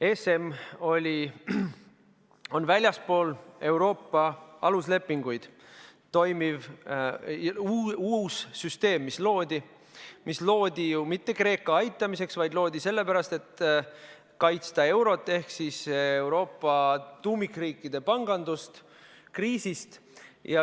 ESM on väljaspool Euroopa aluslepinguid toimiv uus süsteem, mis loodi ju mitte Kreeka aitamiseks, vaid loodi sellepärast, et kaitsta eurot ehk Euroopa tuumikriikide pangandust kriisis.